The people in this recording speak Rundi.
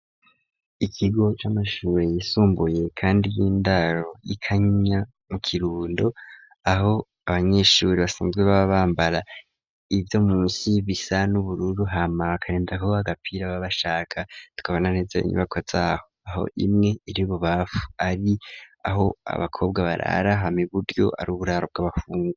Ikigo c'amashure yisumbuye kandi y'indaro y'ikanyinya mu kirundo aho abanyeshure basanzwe baba bambara ibyo munsyi bisa n'ubururu hama akarenda ahuba agapira babashaka tukabona neza 'inyubako zaho aho imwe iri ububafu ari aho abakobwa barara hame iburyo ari uburaro bw'abahungu.